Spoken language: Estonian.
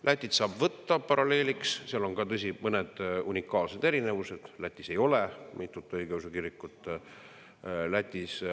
Lätit saab võtta paralleeliks, kuid seal on ka, tõsi, mõned unikaalsed erinevused, Lätis ei ole mitut õigeusu kirikut.